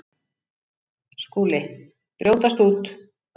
SKÚLI: Brjótast út!